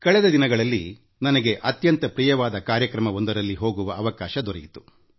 ಇತ್ತೀಚೆಗೆ ನನಗೆಅತ್ಯಂತ ಪ್ರಿಯವಾದ ಕಾರ್ಯಕ್ರಮವೊಂದಕ್ಕೆ ಹೋಗುವ ಅವಕಾಶ ದೊರೆಯಿತು